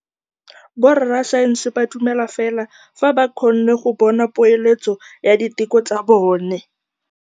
Borra saense ba dumela fela fa ba kgonne go bona poeletsô ya diteko tsa bone.